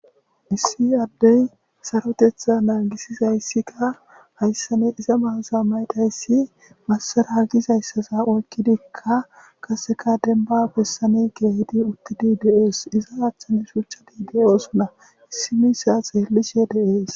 issi addey sarotetha naagisizayssikka hayssani iza mayozo mayizaysi massara gizayssaza oykkidikka qaseka denba bessani keehidi uttidi de'oos iza achchani shucchadi de'osuna issi misha xeellishe de'ees